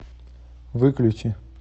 выключи